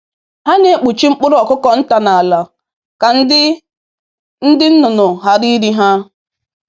“Ha na-ekpuchi mkpụrụ ọkụkọ nta na ala ka ndị ka ndị nnụnụ ghara iri ha